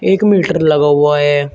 एक मीटर लगा हुआ है।